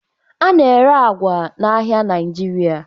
A na-ere agwa n'ahịa Naịjirịa.